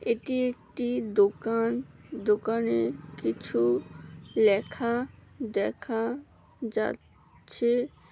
এটি একটি দোকান। দোকানে কিছু লেখা দেখা যাচ্ছে।